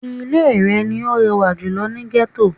Ilé rẹ̀ ni ó rẹwà jùlō ni Gẹ́tò